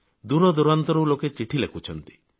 ଦୂରଦୂରାନ୍ତରୁ ଲୋକ ଚିଠି ଲେଖୁଛନ୍ତି